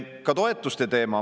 Ka toetuste teema.